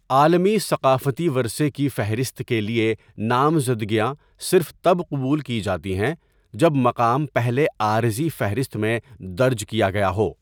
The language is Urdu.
عالمی ثقافتی ورثے کی فہرست کے لیے نامزدگیاں صرف تب قبول کی جاتی ہیں جب مقام پہلے عارضی فہرست میں درج کیا گیا ہو۔